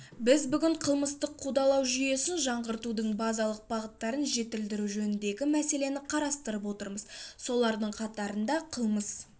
біз бүгін қылмыстық қудалау жүйесін жаңғыртудың базалық бағыттарын жетілдіру жөніндегі мәселені қарастырып отырмыз солардың қатарында қылмыс